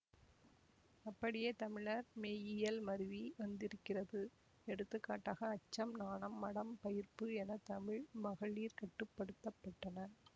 அப்படியே தமிழர் மெய்யியல் மருவி வந்திருக்கிறது எடுத்துக்காட்டக அச்சம் நாணம் மடம் பயிர்ப்பு என தமிழ் மகளிர் கட்டுப்படுத்தப்பட்டனர்